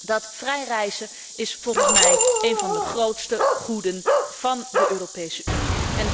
Dat vrij reizen is volgens mij een van de grootste goeden van de Europese Unie.